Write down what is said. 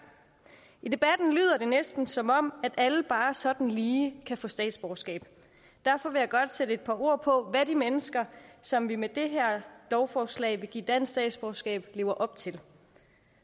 i debatten lyder det næsten som om alle bare sådan lige kan få statsborgerskab derfor vil jeg godt sætte et par ord på hvad de mennesker som vi med det her lovforslag vil give dansk statsborgerskab lever op til